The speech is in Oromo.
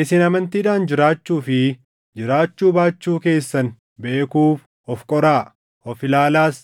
Isin amantiidhaan jiraachuu fi jiraachuu baachuu keessan beekuuf of qoraa; of ilaalaas.